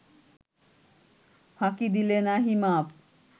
ফাঁকি দিলে নাহি মাপ